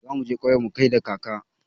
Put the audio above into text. Za mu je ƙauyen mu da kaka.